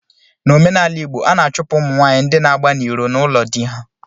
N'omenala igbo, a na-achụpụ ụmụ nwanyị ndị na-agba n'iro n'ụlọ di ha